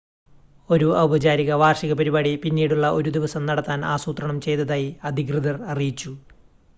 ഒരു ഔപചാരിക വാർഷിക പരിപാടി പിന്നീടുള്ള ഒരു ദിവസം നടത്താൻ ആസൂത്രണം ചെയ്‌തതായി അധികൃതർ അറിയിച്ചു